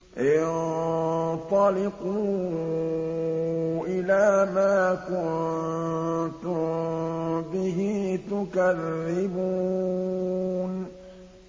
انطَلِقُوا إِلَىٰ مَا كُنتُم بِهِ تُكَذِّبُونَ